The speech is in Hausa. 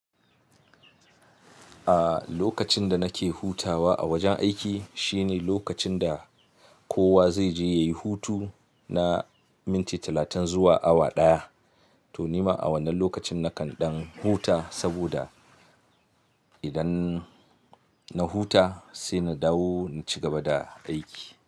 A lokacin da nake hutawa a wajen aiki shine lokacin da kowa zai je ya yi hutu na minti talatin zuwa awa ɗaya. To ni ma a wannan lokacin nakan ɗan huta saboda idan na huta sai na dawo na ci gaba da aiki.